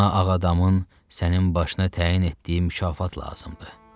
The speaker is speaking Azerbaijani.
Ona Ağadamın sənin başına təyin etdiyi mükafat lazımdır.